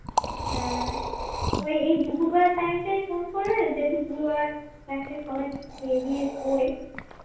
হ্যাঁ এই দুপুরবেলার টাইম টায় ফোন করলে যেহেতু দুপুরবেলার টাইম টায় সবাই খেয়ে গিয়ে সোয়